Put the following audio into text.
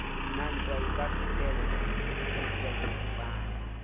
na ntwa e ka fetelletsang